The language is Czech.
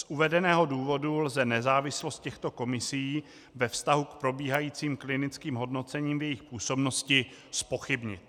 Z uvedeného důvodu lze nezávislost těchto komisí ve vztahu k probíhajícím klinickým hodnocením v jejich působnosti zpochybnit.